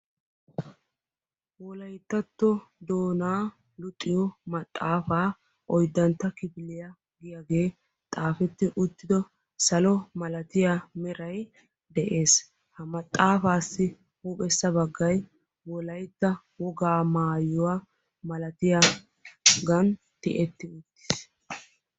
Wolayttatto doonaa luxiyo maxaafaa oyddantta kifiliya giyagee xaafetti uttido salo milatiya meray de'ees. Ha maxaafaassi huuphessa baggay wolaytta wogaa maayuwa malatiya gan tiyetti uttiis.